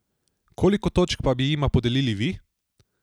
Koliko točk pa bi jima podelili vi?